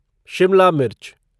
शिमला मिर्च